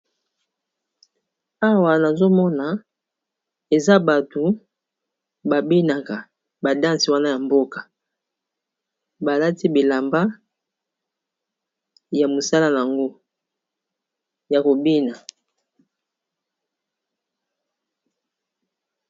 Awa nazomona eza bato babinaka badansi wana ya mboka balati bilamba ya mosala yango ya kobina.